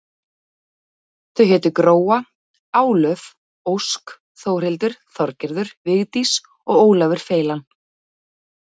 Þau hétu Gróa, Álöf, Ósk, Þórhildur, Þorgerður, Vigdís og Ólafur feilan.